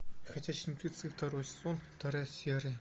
ходячие мертвецы второй сезон вторая серия